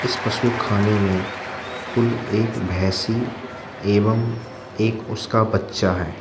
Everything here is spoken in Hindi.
इस पशु खाने में कुल एक भैसी एवं एक उसका बच्चा है।